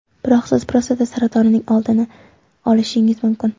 Biroq siz prostata saratonining oldini olishingiz mumkin.